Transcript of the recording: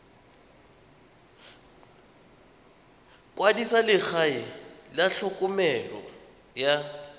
kwadisa legae la tlhokomelo ya